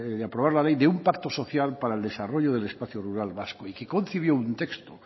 de aprobar la ley de un pacto social para el desarrollo del espacio rural vasco y que concibió un texto